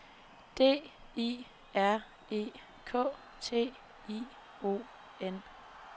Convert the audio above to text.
D I R E K T I O N